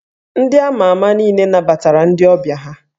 Ndị a ma ama niile nabatara ndị ọbịa ha